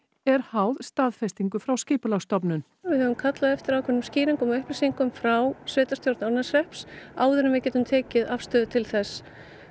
er háð staðfestingu frá Skipulagsstofnun við höfum kallað eftir ákveðnum skýringum og upplýsingum frá sveitarstjórn Árneshrepps áður en við getum tekið afstöðu til þess